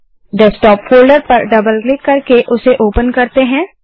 desktop folder पर double click करके उसे ओपन करते हैं